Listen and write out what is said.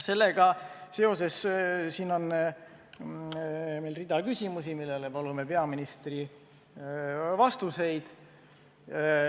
Sellega seoses on meil rida küsimusi, millele palume peaministrilt vastuseid.